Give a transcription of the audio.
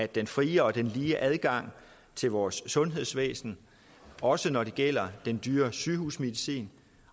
den frie og lige adgang til vores sundhedsvæsen også når det gælder den dyre sygehusmedicin